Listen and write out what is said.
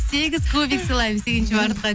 сегіз кубик сыйлаймын сегізінші мартқа